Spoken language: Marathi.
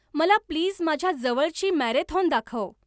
मला प्लीज माझ्या जवळची मॅरेथॉन दाखव.